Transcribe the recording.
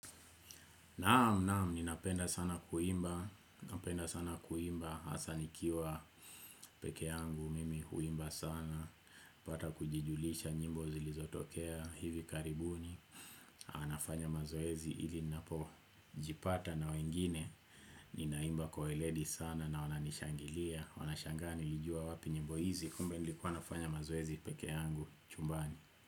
Naam, naam, ninapenda sana kuimba, napenda sana kuimba, hasa nikiwa peke yangu, mimi huimba sana, napata kujijulisha nyimbo zilizotokea hivi karibuni, nafanya mazoezi ili ninapo jipata na wengine, ninaimba kwa weledi sana na wananishangilia, wanashangaa nilijua wapi nyimbo hizi, kumbe nilikuwa nafanya mazoezi peke yangu, chumbani.